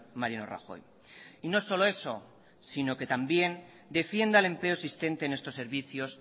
mariano rajoy y no solo eso sino que también defienda el empleo existente en estos servicios